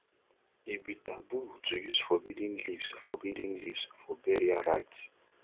e be taboo to use forbidden leaves forbidden leaves for burial rites